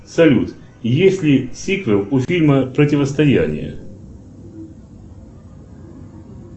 салют есть ли сиквел у фильма противостояние